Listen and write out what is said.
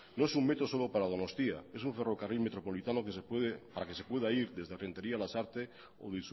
no es un metro solo para donostia es un ferrocarril metropolitano para que se pueda ir desde renteria a lasarte o